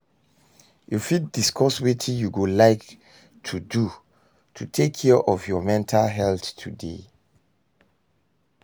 You fit discuss wetin you go like to do to take care of your mental health today?